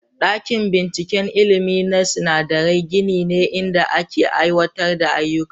Dakin binciken ilimi na sinadarai gini ne inda ake aiwatar da ayyuka.